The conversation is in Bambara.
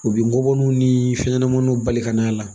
U bɛ nɔgɔninw ni fɛnɲɛnamaninw bali ka n'a la